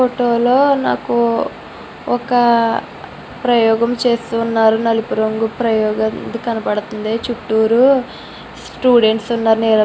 ఫోటోలో నాకు ఒక ప్రయోగం చేస్తున్నారు నలుపురంగు ప్రయోగం కనబడుతుంది చూట్టూరు స్టూడెంట్స్ వున్నారు --